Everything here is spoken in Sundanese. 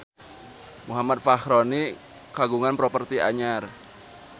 Muhammad Fachroni kagungan properti anyar